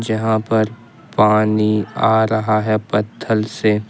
यहां पर पानी आ रहा है पत्थर से।